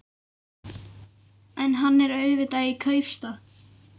En hann er auðvitað í kaupstað.